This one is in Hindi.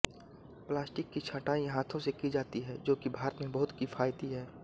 प्लास्टिक की छंटाई हाथों से की जाती है जो कि भारत में बहुत किफायती है